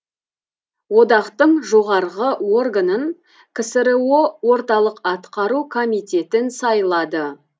одақтың жоғарғы органын ксро орталық атқару комитетін сайлады